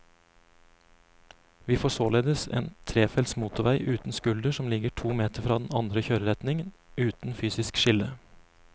Vi får således en trefelts motorvei uten skulder som ligger to meter fra den andre kjøreretningen, uten fysisk skille.